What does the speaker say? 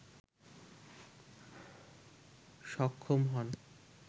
সক্ষম হন